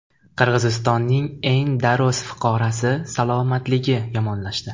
Qirg‘izistonning eng daroz fuqarosi salomatligi yomonlashdi.